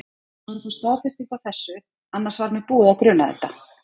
Ég var að fá staðfestingu á þessu. annars var mig búið að gruna þetta.